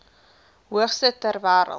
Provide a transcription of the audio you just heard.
hoogste ter wêreld